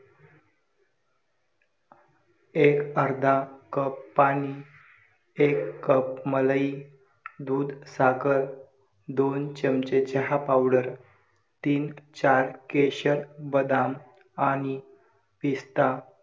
एक अर्धा कप पाणी, एक कप मलई, दूध, साखर, दोन चमचे चहा पावडर, तीन-चार केसर बदाम आणि पिस्ता